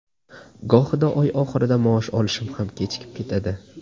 Gohida oy oxirida maosh olishim ham kechikib ketadi.